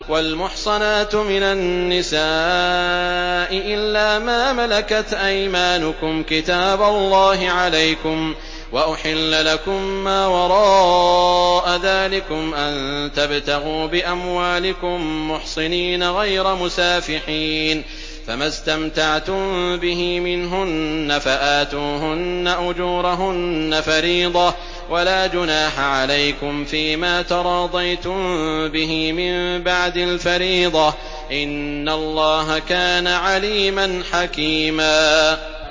۞ وَالْمُحْصَنَاتُ مِنَ النِّسَاءِ إِلَّا مَا مَلَكَتْ أَيْمَانُكُمْ ۖ كِتَابَ اللَّهِ عَلَيْكُمْ ۚ وَأُحِلَّ لَكُم مَّا وَرَاءَ ذَٰلِكُمْ أَن تَبْتَغُوا بِأَمْوَالِكُم مُّحْصِنِينَ غَيْرَ مُسَافِحِينَ ۚ فَمَا اسْتَمْتَعْتُم بِهِ مِنْهُنَّ فَآتُوهُنَّ أُجُورَهُنَّ فَرِيضَةً ۚ وَلَا جُنَاحَ عَلَيْكُمْ فِيمَا تَرَاضَيْتُم بِهِ مِن بَعْدِ الْفَرِيضَةِ ۚ إِنَّ اللَّهَ كَانَ عَلِيمًا حَكِيمًا